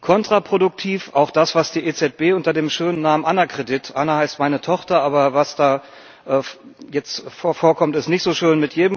Kontraproduktiv auch das, was die EZB unter dem schönen Namen Anna Kredit versteht Anna heißt meine Tochter, aber was da jetzt vorkommt, ist nicht so schön.